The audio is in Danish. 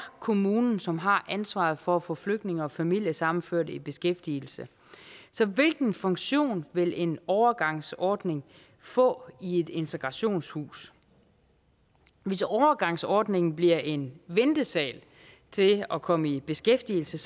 kommunen som har ansvaret for at få flygtninge og familiesammenførte i beskæftigelse så hvilken funktion vil en overgangsordning få i et integrationshus hvis overgangsordningen bliver en ventesal til at komme i beskæftigelse